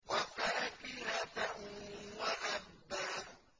وَفَاكِهَةً وَأَبًّا